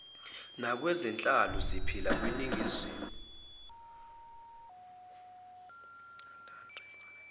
nakwezenhlalo siphila kwiningizimu